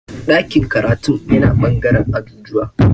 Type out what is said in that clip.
Dakin karatun yana ɓangaren ajujuwa